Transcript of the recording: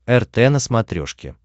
рт на смотрешке